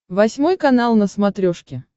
восьмой канал на смотрешке